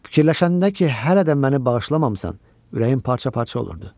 Fikirləşəndə ki, hələ də məni bağışlamamısan, ürəyim parça-parça olurdu.